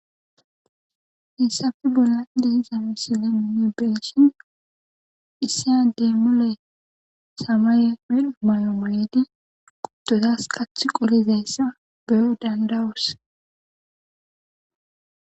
Hyssafe bolla dihiza misile minne beeshin issiya dee mule samaye medho mayo moyedi quttodas qath qolizayssa beyo dandawus.